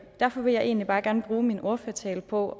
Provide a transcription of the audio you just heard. derfor vil jeg egentlig bare gerne bruge min ordførertale på